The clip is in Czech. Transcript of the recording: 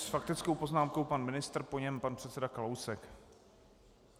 S faktickou poznámkou pan ministr, po něm pan předseda Kalousek.